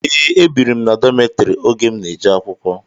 Ee, ebiri m na dọmetiri oge m n'eje akwụkwọ.